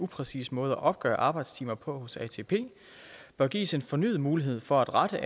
upræcis måde at opgøre arbejdstimer på hos atp bør gives en fornyet mulighed for at rette